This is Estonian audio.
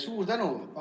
Suur tänu!